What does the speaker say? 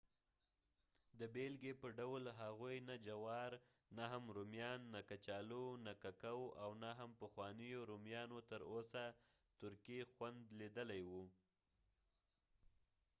د بیلګې په ډول هغوی نه جوار نه هم رومیان نه کچالو نه ککو او نه هم پخوانیو رومیانو تر اوسه ترکي خوند لیدلی وو